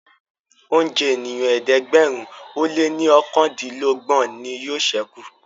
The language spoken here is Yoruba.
oúnjẹ ènìyàn ẹ̀ẹ́dẹ̀gbẹ̀rin o lẹ ní okàndinlogbon ní yóò sẹku